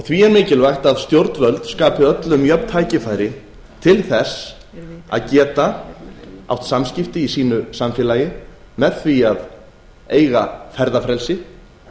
því er mikilvægt að stjórnvöld skapi öllum jöfn tækifæri til þess að geta átt samskipti í sínu samfélagi með því að eiga ferðafrelsi